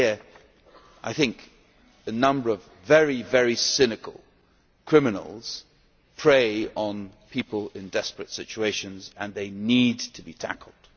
Here, I think, a number of very, very cynical criminals prey on people in desperate situations and they need to be tackled.